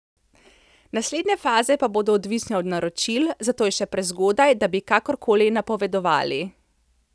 Naslednje faze pa bodo odvisne od naročil, zato je še prezgodaj, da bi kakorkoli napovedovali.